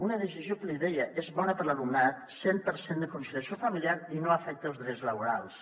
una decisió que l’hi deia és bona per a l’alumnat cent per cent de conciliació familiar i no afecta els drets laborals